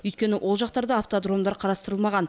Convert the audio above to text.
өйткені ол жақта автодромдар қарастырылмаған